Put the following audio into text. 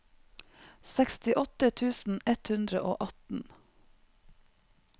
sekstiåtte tusen ett hundre og atten